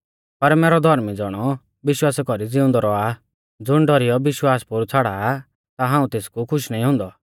पर मैरौ धौर्मी ज़ौणौ विश्वासा कौरी ज़िउंदौ रौआ आ ज़ुण डौरीयौ विश्वास पोरु छ़ाड़ा आ ता हाऊं तेसकु खुश नाईं हुंदौ